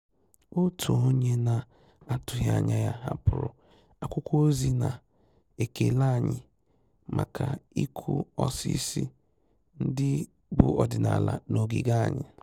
Òtù ónyé nà-àtụ́ghị́ ányà yá hàpụ́rụ̀ ákwụ́kwọ́ ózì nà-ékélé ànyị́ màkà ị́kụ́ ósísí ndị́ bù ọ́dị́nàlà nà ògígè ànyị́.